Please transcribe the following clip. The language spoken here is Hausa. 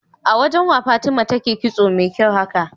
awajan wa fatima take kitso me kyau haka?